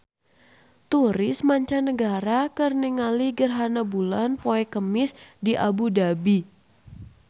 Turis mancanagara keur ningali gerhana bulan poe Kemis di Abu Dhabi